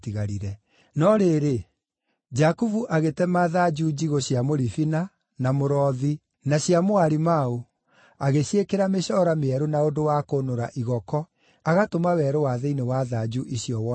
No rĩrĩ, Jakubu agĩtema thanju njigũ cia mũribina, na mũrothi, na cia mũarimaũ, agĩciĩkĩra mĩcoora mĩerũ na ũndũ wa kũnũra igoko agatũma werũ wa thĩinĩ wa thanju icio wonekane.